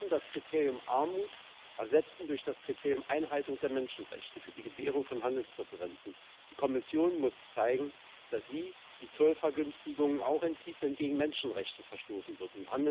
Wir müssen das Kriterium Armut ersetzen durch das Kriterium Einhaltung der Menschenrechte für die Gewährung von Handelspräferenzen. Die Kommission muss zeigen, dass sie die Zollvergünstigungen auch entzieht, wenn gegen Menschenrechte verstoßen wird.